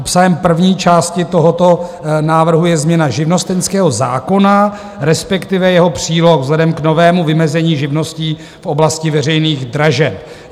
Obsahem první části tohoto návrhu je změna živnostenského zákona, respektive jeho příloha, vzhledem k novému vymezení živností v oblasti veřejných dražeb.